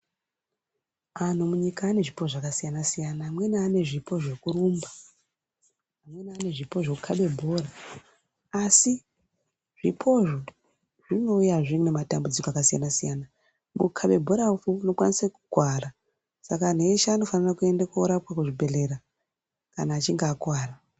Anh munyika ane zvipo zvakasiyana-siyana, amweni ane zvipo zvekurumba, amweni ane zvipo zvekukhabe bhora asi zvipozvo zvinouya zveee nematambudziko akasiyana-siyana. Kukhabe bhora unokwanise kukuwara, saka anhu eshe anofanira kuenda koorapwa kuzvibhedhlera kana achinge akuwara.